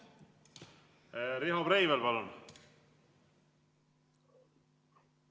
Riho Breivel, palun!